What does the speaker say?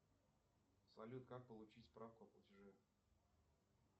салют как получить справку о платеже